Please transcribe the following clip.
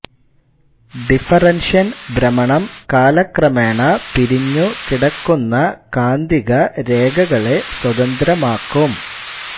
ഡിഫറൻഷ്യൻ ഭ്രമണം കാലക്രമേണ പിരിഞ്ഞു കിടക്കുന്ന കാന്തിക രേഖകളെ സ്വതന്ത്രമാക്കും